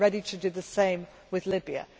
We are ready to do the same with Libya.